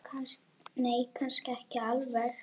Nei, kannski ekki alveg.